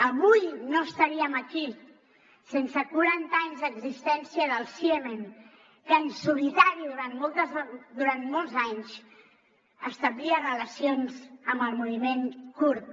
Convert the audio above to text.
avui no estaríem aquí sense quaranta anys d’existència del ciemen que en solitari durant molts anys establia relacions amb el moviment kurd